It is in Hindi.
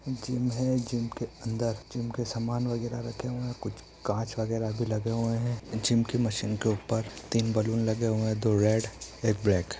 जिम है। जिम के अंदर जिम का सामान वगैरह रखे हुए हैं। कुछ काँच वगैरह भी लगे हुए हैं। जिम की मशीन के ऊपर तीन बैलून लगे हुए है दो रेड एक ब्लैक ।